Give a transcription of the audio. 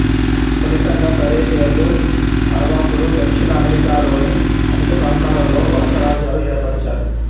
ఫలితంగా కరేబియన్లు అర్వాకులు దక్షిణ అమెరికాలోని అధికప్రాంతాలలో వలసరాజ్యాలు ఏర్పరిచారు